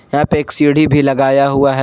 यहां पे एक सीढ़ी भी लगाया हुआ है।